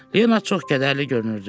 Leonard çox qədərli görünürdü.